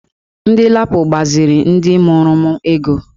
Ndị LAPO gbaziri ndị mụrụ m ego